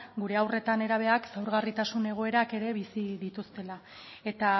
gure haur eta nerabeak ezaugarritasun egoerak ere bizi dituztela eta